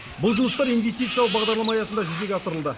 бұл жұмыстар инвестициялық бағдарлама аясында жүзеге асырылды